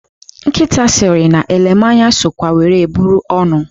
Nkịta sịrị na elemanya sokwa were bụrụ ọrụ.